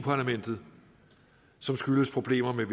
parlamentet som skyldes problemer med